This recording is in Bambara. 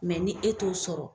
ni e t'o sɔrɔ